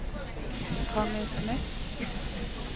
Connie Smith